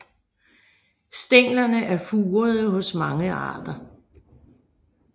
Stænglerne er furede hos mange arter